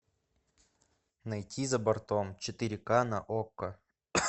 найти за бортом четыре ка на окко